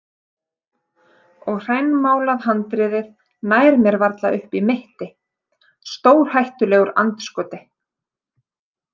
Og hrænmálað handriðið nær mér varla upp í mitti, stórhættulegur andskoti.